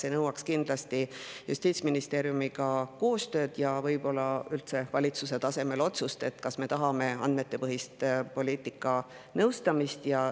See nõuaks kindlasti koostööd Justiitsministeeriumiga ja võib-olla üldse valitsuse tasemel otsust, kas me tahame andmetepõhist poliitikanõustamist.